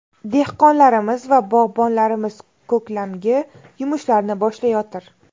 Dehqonlarimiz va bog‘bonlarimiz ko‘klamgi yumushlarni boshlayotir.